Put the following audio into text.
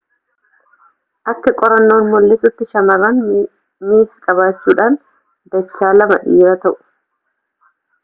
akka qorannoon mul'isuutti shamarran ms qabaachuudhaan dachaa lama dhiiraa ta'u